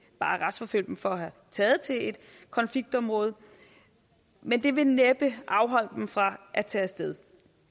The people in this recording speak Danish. bare retsforfølge dem for at være taget til et konfliktområde men det vil næppe afholde dem fra at tage af sted